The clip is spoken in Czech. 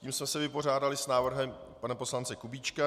Tím jsme se vypořádali s návrhem pana poslance Kubíčka.